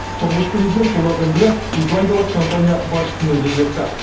тұңғыш президент солардың бірі исландиялық компания басшысымен кездесті